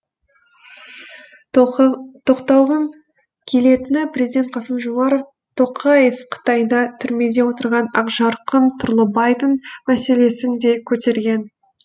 тоқталғым келетіні президент қасым жомарт тоқаев қытайда түрмеде отырған ақжарқын тұрлыбайдың мәселесін де көтерген